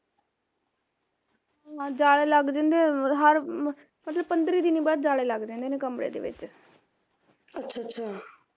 ਹਾਂ ਜਾਲੇ ਲੱਗ ਜਾਂਦੇ, ਹਰ ਮਤਲਬ ਪੰਦਰੀਂ ਦਿਨੀਂ ਬਾਅਦ ਜਾਲੇ ਲੱਗਦੇ ਨੇ ਕਮਰੇ ਦੇ ਵਿਚ